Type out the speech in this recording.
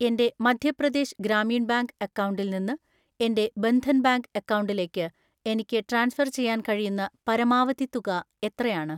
എൻ്റെ മധ്യപ്രദേശ് ഗ്രാമീൺ ബാങ്ക് അക്കൗണ്ടിൽ നിന്ന് എൻ്റെ ബന്ധൻ ബാങ്ക് അക്കൗണ്ടിലേക്ക് എനിക്ക് ട്രാൻസ്ഫർ ചെയ്യാൻ കഴിയുന്ന പരമാവധി തുക എത്രയാണ്?